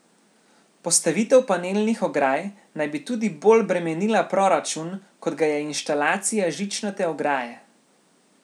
Postavitev panelnih ograj naj bi tudi bolj bremenila proračun, kot ga je inštalacija žičnate ograje.